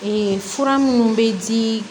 fura minnu bɛ di